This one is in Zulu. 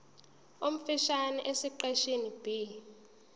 omfushane esiqeshini b